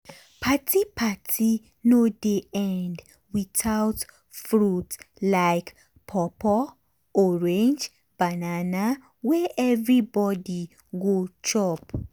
party party no dey end without fruit like pawpaw orange banana wey everybody go chop.